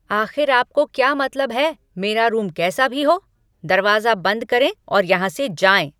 आख़िर आपको क्या मतलब है, मेरा रूम कैसा भी हो? दरवाज़ा बंद करें और यहां से जाएँ।